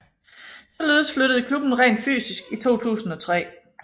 Således flyttede klubben rent fysisk i 2003